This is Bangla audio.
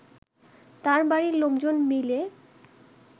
তার বাড়ির লোকজন মিলে